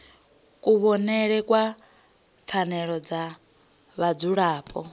kuvhonele kwa pfanelo dza vhadzulapo